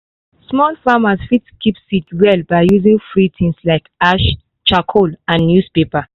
small farmers fit keep seed well by using free things like ash charcoal and newspaper.